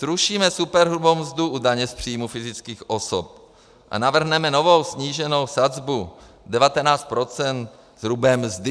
Zrušíme superhrubou mzdu u daně z příjmů fyzických osob a navrhneme novou sníženou sazbu 19 % hrubé mzdy.